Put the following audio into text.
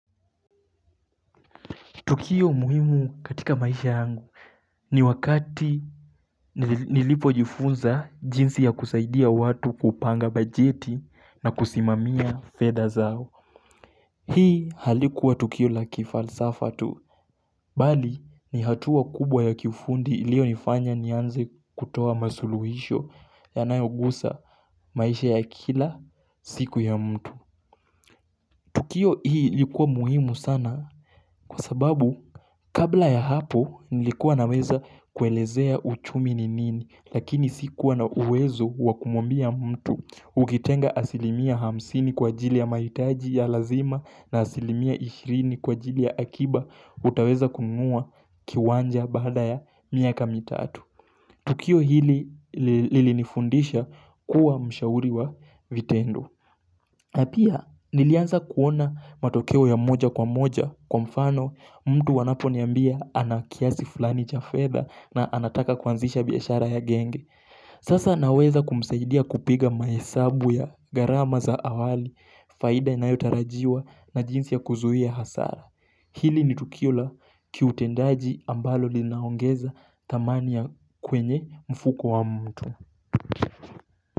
Tukio muhimu katika maisha yangu ni wakati nilipo jifunza jinsi ya kusaidia watu kupanga bajeti na kusimamia fedha zao. Hii halikuwa tukio la kifalsafa tu, bali ni hatua kubwa ya kiufundi ilio nifanya nianze kutoa masuluhisho yanayogusa maisha ya kila siku ya mtu. Tukio hii ilikuwa muhimu sana kwa sababu kabla ya hapo nilikuwa naweza kuelezea uchumi ni nini lakini sikuwa na uwezo waku mwambia mtu ukitenga asilimia hamsini kwa ajili ya maitaji ya lazima na asilimia ishirini kwa ajili ya akiba utaweza kununua kiwanja baada ya miaka mitatu. Tukio hili lilinifundisha kuwa mshauri wa vitendo. Na pia nilianza kuona matokeo ya moja kwa moja kwa mfano mtu wanapo niambia anakiasi fulani cha feather na anataka kuanzisha biashara ya genge. Sasa naweza kumsaidia kupiga mahesabu ya garama za awali faida inayotarajiwa na jinsi ya kuzuhia hasara. Hili nitukiola kiutendaji ambalo linaongeza thamani ya kwenye mfuko wa mtu.